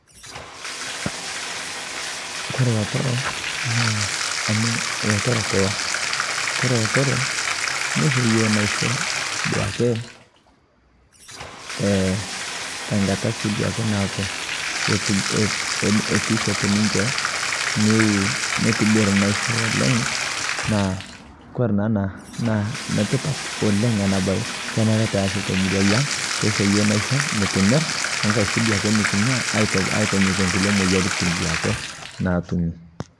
Kore lotorok naa amu ilotorok kulo kore ilotorok neisho iyiook naisho paake te nkata sii duo nabo netum teneshet ninche neitabir naisho oleng' naa kore naa ena naa enetipat oleng' ena baye kenare peesi toomurua aang' peekitum sii duo enaisho nikimir wenkaei siiduo nikinyia aitaunyie nkulie moyiaritin naatumi.